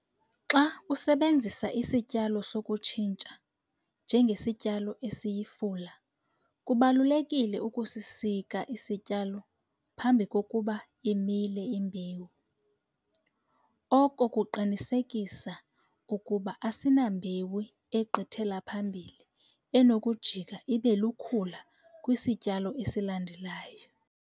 Xa usebenzisa isityalo sokutshintsha njengesityalo esiyifula kubalulekile ukusisika isityalo phambi kokuba imile imbewu. Oko kuqinisekisa ukuba asinambewu egqithela phambili enokujika ibe lukhula kwisityalo esilandelayo.